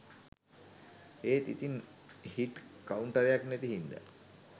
ඒත් ඉතින් හිට් කවුන්ටරයක් නැති හින්ද